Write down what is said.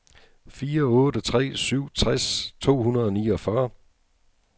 fire otte tre syv tres to hundrede og niogfyrre